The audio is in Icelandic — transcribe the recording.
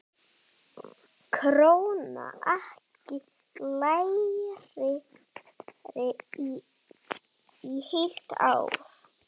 Krónan ekki lægri í heilt ár